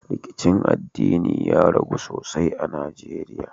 Rikicin addinin ya ragu sosai a najeriya